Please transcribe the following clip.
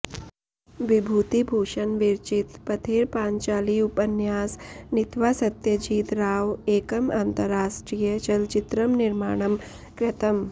बिभूतिभूषण विरचित पथेर पाँचाली उपन्यास नित्वा सत्यजित् राव एकं अन्ताराष्ट्रिय चलचित्रं निर्माणं कृतम्